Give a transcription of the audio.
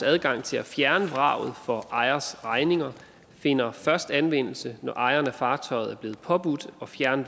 adgang til at fjerne vraget for ejers regning finder først anvendelse når ejeren af fartøjet er blevet påbudt at fjerne